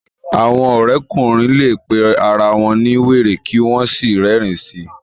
awọn òrékùnrin lẹ pé àrà wón ní wéré kí wón sí rerin sí